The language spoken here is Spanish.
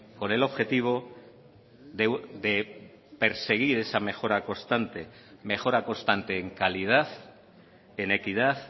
con el objetivo de perseguir esa mejora constante mejora constante en calidad en equidad